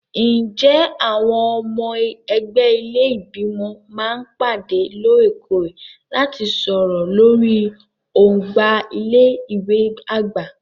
Ǹjẹ́ àwọn ọmọ ẹgbẹ́ ilé Ìgbìmọ̀ máa ń pàdé lóòrèkóòrè láti sọ̀rọ̀ lórí ọgbà ilé ìwé àgbà?